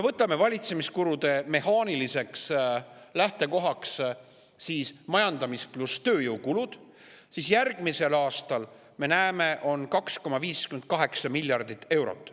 Võtame valitsemiskulude mehaaniliseks lähtekohaks majandamis- ja tööjõukulud, järgmisel aastal on, nagu me näeme, selleks planeeritud 2,58 miljardit eurot.